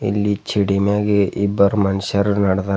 ಇಲ್ಲಿ ಚಿಡಿ ಮ್ಯಾಗೆ ಇಬ್ಬರು ಮನಷ್ಯಾರ ನಡದಾರ.